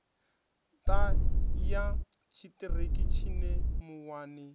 ṱa ya tshiṱiriki tshine muwani